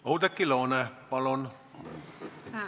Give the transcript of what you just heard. Oudekki Loone, palun!